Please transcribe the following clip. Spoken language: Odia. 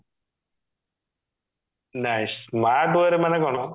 ନାଇଁ smart way ରେ ମାନେ କଣ